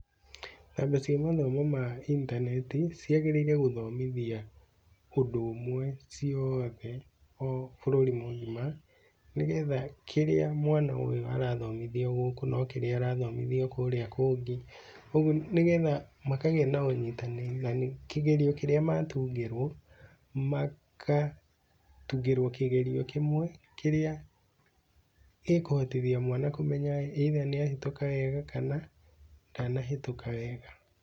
Rabu cia mathomo ma intaneti, ciagĩrĩire gũthomithia ũndũ ũmwe ciothe o bũrũri mũgima, nĩgetha kĩrĩa mwana ũyũ arathomithio gũkũ no kĩrĩa arathomithio kũrĩa kũngĩ, ũguo nĩgetha makagĩa na ũnyitanĩri na kĩgeranio kĩrĩa matungĩrwo, magatungĩrwo kĩgerio kĩmwe, kĩrĩa gĩkũhotithia mwana kũmenya either nĩahĩtũka wega kana ndanahĩtũka wega.